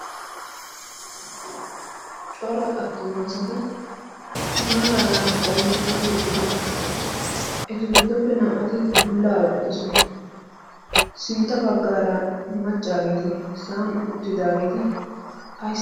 cora attumaasati maaraara qoomettidi eqqidosona etu giddoppe naa''ati bullaa eqqidosona sintta baggaara maccaageeti sa'an uttidaageeti